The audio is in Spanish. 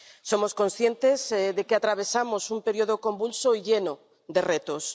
Somos conscientes de que atravesamos un periodo convulso y lleno de retos.